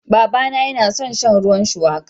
Babana yana son shan ruwan shuwaka.